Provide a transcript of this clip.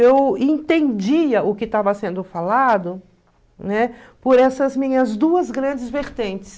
Eu entendia o que estava sendo falado, né, por essas minhas duas grandes vertentes.